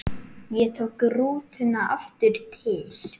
Ég tók rútuna aftur til